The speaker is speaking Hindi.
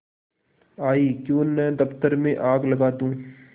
आयीक्यों न दफ्तर में आग लगा दूँ